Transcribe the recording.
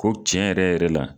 Ko cɛn yɛrɛ yɛrɛ la.